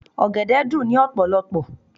Ọ̀gẹ̀dẹ̀ dùn ní ọ̀pọ̀lọpọ̀.